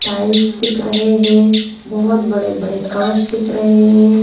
Tiles दिख रहे हैं बहोत बड़े-बड़े कांच दिख रहे हैं।